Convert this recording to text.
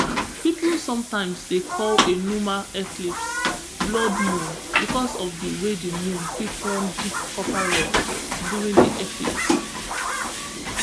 pipo sometimes dey call a lunar eclipse blood moon because of di way di moon fit turn deep copper red during di eclipse